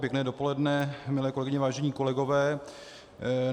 Pěkné dopoledne, milé kolegyně, vážení kolegové.